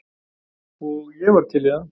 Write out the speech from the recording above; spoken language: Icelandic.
Og ég var til í það.